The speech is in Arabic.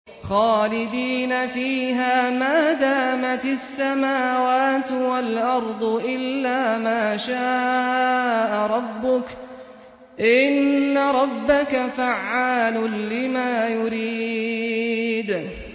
خَالِدِينَ فِيهَا مَا دَامَتِ السَّمَاوَاتُ وَالْأَرْضُ إِلَّا مَا شَاءَ رَبُّكَ ۚ إِنَّ رَبَّكَ فَعَّالٌ لِّمَا يُرِيدُ